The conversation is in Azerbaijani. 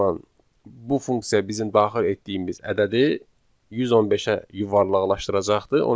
o zaman bu funksiya bizim daxil etdiyimiz ədədi 115-ə yuvarlaqlaşdıracaqdı,